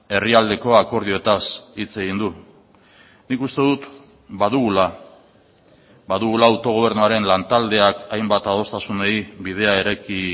herrialdeko akordioetaz hitz egin du nik uste dut badugula badugula autogobernuaren lantaldeak hainbat adostasunei bidea eraiki